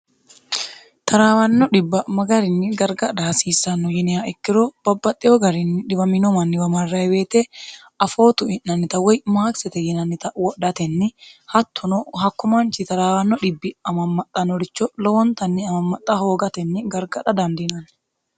taraawanno dhibba'magarinni gargadha hasiissanno yiniya ikkiro babbaxxewo garinni dhiwaminomanniwa marrayi weete afoo tui'nannita woy maakisete yinannita wodhatenni hattono hakko manchi taraawanno dhibbi amammaxxanoricho lowontanni amammaxxa hoogatenni gargadha dandinanni